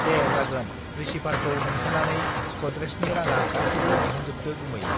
दे जागोन रिसिभारखौ हमथेनानै गडरेजनि राङा गासिबो दिहुनजोबदो गुमै